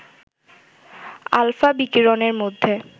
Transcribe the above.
alpha বিকিরণের মধ্যে